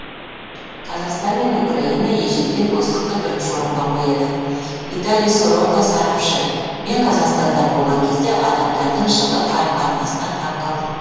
қазақстан мен украина ежелден достықты бірінші орынға қояды виталий сорока сарапшы мен қазақстанда болған кезде адамдардың жылы қарым қатынасына таң қалдым